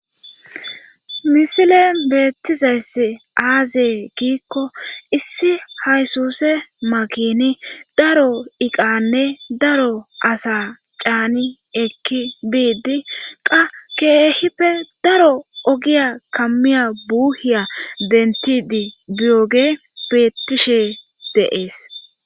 Misile beettizayss aazee kiikko issi haysuse makini daro iqanne daro asa caani ekki biidi qa keehippe daro ogiya kammiya buuhiya dentidi biyoge beettishe dees.